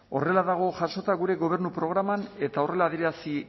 horrela dago jasota gure gobernu programan eta horrela adierazi